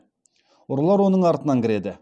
ұрылар оның артынан кіреді